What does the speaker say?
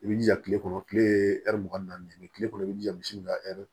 I bi jija kile kɔnɔ kile ye ɛri mugan nin ye kile kɔnɔ i bi jija misi ka ɛri